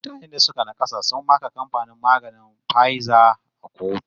Mutane da suka naƙasa sun maka kamfanin maganin Pfizer a kotu